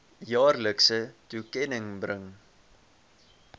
jaarlikse toekenning bring